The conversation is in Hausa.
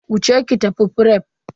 Wuce ki tafi fref.